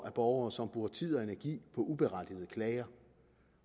er borgere som bruger tid og energi på uberettigede klager